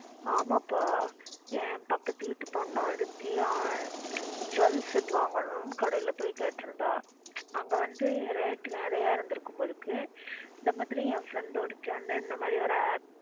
ஆமாப்பா என் பக்கத்துவீட்டு பொண்ணு ஒருத்தி ஆஹ் jewel set வாங்கணும்னு கடையில போயி கேட்ருந்தா அங்க வந்து rate நறைய இருந்திருக்கும் போல இருக்கு இந்த மாதிரி என் friend ஒருத்தி வந்து இந்த மாறி ஒரு app.